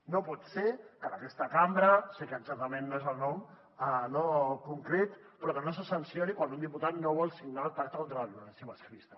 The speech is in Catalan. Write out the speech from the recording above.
no pot ser que en aquesta cambra sé que exactament no és el nom concret però que no se sancioni quan un diputat no vol signar el pacte contra la violència masclista